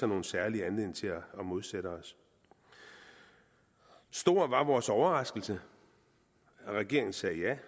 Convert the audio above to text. nogen særlig anledning til at modsætte os stor var vores overraskelse da regeringen sagde ja